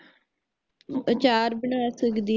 ਅਚਾਰ ਬਣਾ ਸਕਦੀ ਹੈ